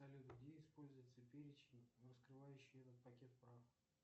салют где используется перечень раскрывающий этот пакет прав